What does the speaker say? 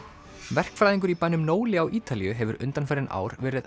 verkfræðingur í bænum á Ítalíu hefur undanfarin ár verið